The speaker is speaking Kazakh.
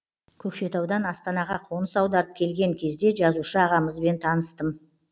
көкшетаудан астанаға қоныс аударып келген кезде жазушы ағамызбен таныстым